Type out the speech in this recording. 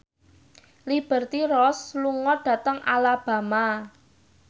Liberty Ross lunga dhateng Alabama